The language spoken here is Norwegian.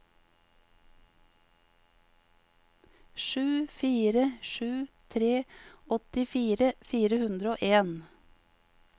sju fire sju tre åttifire fire hundre og en